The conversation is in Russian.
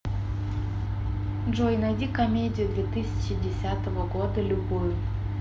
джой найди комедию две тысячи десятого года любую